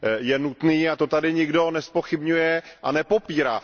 je nutný a to tady nikdo nezpochybňuje a nepopírá.